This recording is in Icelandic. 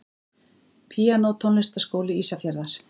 Píanó Tónlistarskóli Ísafjarðar.